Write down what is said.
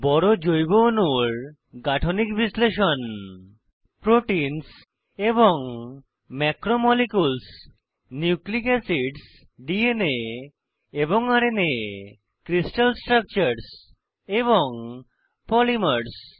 বড় জৈব অণুর গাঠনিক বিশ্লেষণ প্রোটিনস এবং ম্যাক্রোমোলিকিউলস নিউক্লিক এসিডস ডিএনএ এবং আরএনএ ক্রিস্টাল স্ট্রাকচার্স এবং পলিমার্স